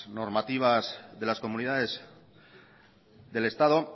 normativas de las comunidades del estado